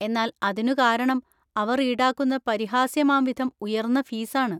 എന്നാൽ അതിനു കാരണം അവർ ഈടാക്കുന്ന പരിഹാസ്യമാംവിധം ഉയർന്ന ഫീസാണ്